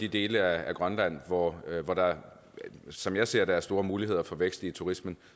de dele af grønland hvor hvor der som jeg ser det er store muligheder for vækst i turismen